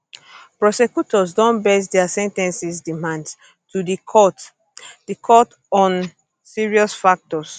prosecutors don base dia sen ten cing demands to di court di court on serious factors